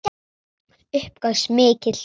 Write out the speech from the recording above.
Upp gaus mikill reykur.